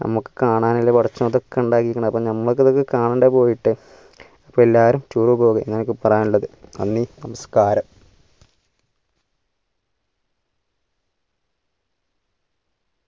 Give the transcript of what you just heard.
നമ്മക് കാണാനല്ലേ പടച്ചോൻ ഇതൊക്കെ ഇണ്ടാകീരിക്കുന്നത് അപ്പം നമ്മക് കാണണ്ടേ പോയിട്ട് അപ്പൊ അല്ലേറും tour പോവുക നന്ദി നമസ്കാരം